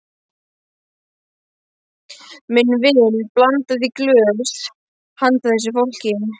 Minn vin blandaði í glös handa þessu fólki.